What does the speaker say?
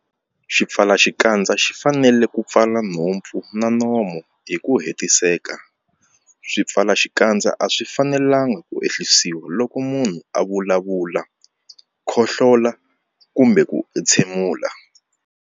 Xipfalaxikandza xi fanele ku pfala nhompfu na nomo hi ku hetiseka. Swipfalaxikandza a swi fanelanga ku ehlisiwa loko munhu a vulavula, khohlola kumbe ku entshemula.